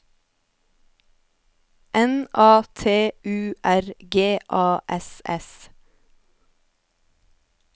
N A T U R G A S S